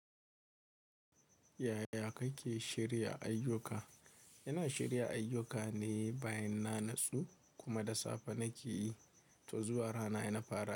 Yaya kake shirya ayyuka? Ina shirya ayyukane bayan na natsu kuma da safe nake yi, to zuwa rana ina fara.